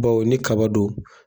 Baw ni kaba don.